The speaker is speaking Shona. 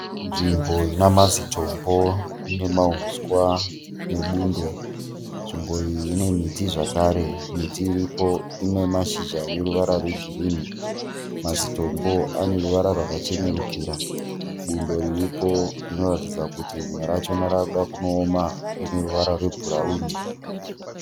Nzvimbo ina mazitombo ine mauswa nebundo. Nzvimbo iyi ine miti zvakare. Miti iripo ine mashizha ane ruvara rwegirini. Mazitombo ane ruvara rwakachenerukira. Bundo riripo rinoratidza kuti rimwe rachona rava kuda kunoona. Rine ruvara rwebhurauni.